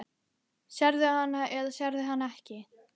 Sérðu hana eða sérðu hana ekki?